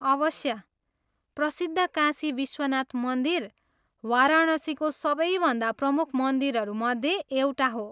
अवश्य। प्रसिद्ध काशी विश्वनाथ मन्दिर वाराणसीको सबैभन्दा प्रमुख मन्दिरहरू मध्ये एउटा हो।